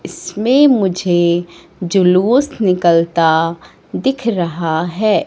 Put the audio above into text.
इसमें मुझे जुलूस निकलता दिख रहा है।